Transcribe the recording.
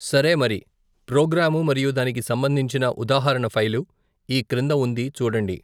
సరే మరి, ప్రోగ్రాము మరియు దానికి సంబంధించిన ఉదాహరణ ఫైలు, ఈ క్రింద ఉంది చూడండి.